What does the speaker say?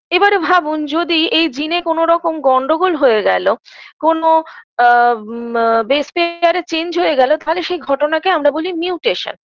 এবারে ভাবুন যদি এই জিনে কোনরকম গন্ডগোল হয়ে গেল কোন আ মা basemaker -এ change হয়ে গেল তাহলে সেই ঘটনাকে আমরা বলি mutation